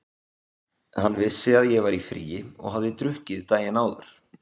Hann vissi að ég var í fríi og hafði drukkið daginn áður.